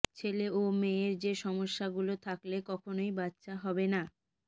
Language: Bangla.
ছেলে ও মেয়ের যে সমস্যাগুলো থাকলে কখনোই বাচ্চা হবে না